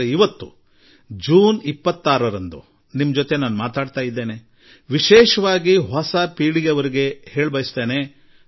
ಆದರೆ ಇಂದು ಜೂನ್ 26 ನಾನು ನಿಮ್ಮೊಡನೆ ಮಾತನಾಡುತ್ತಿರುವಾಗ ಅದರಲ್ಲೂ ವಿಶೇಷವಾಗಿ ನವ ಪೀಳಿಗೆಗೆ ಹೇಳ ಬಯಸುತ್ತೇನೆ